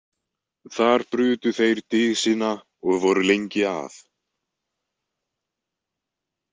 Þar brutu þeir dysina og voru lengi að.